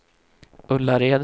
Ullared